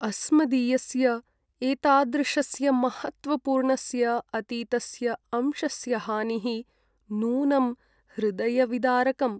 अस्मदीयस्य एतादृशस्य महत्त्वपूर्णस्य अतीतस्य अंशस्य हानिः नूनं हृदयविदारकम्।